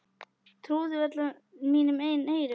Trúði varla mínum eigin eyrum.